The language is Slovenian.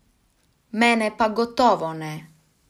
Mene pa gotovo ne!